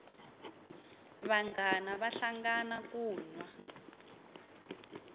vanghana vahlangana ku nwa